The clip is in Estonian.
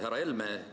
Härra Helme!